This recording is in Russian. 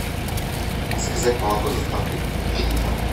заказать молоко с доставкой три литра